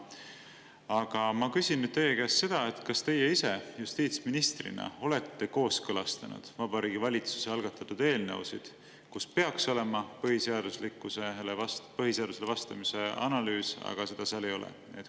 Aga ma küsin nüüd teie käest seda, kas teie ise justiitsministrina olete kooskõlastanud Vabariigi Valitsuse algatatud eelnõusid, kus peaks olema põhiseadusele vastavuse analüüs, aga seda seal ei ole?